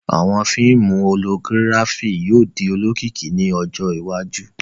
Awọn fiimu Hologirafi yóò di olokiki ni ọjọ iwaju